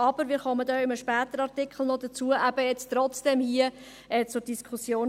Aber – wir kommen bei einem nachfolgenden Artikel später noch dazu – dies steht hier trotzdem zur Diskussion.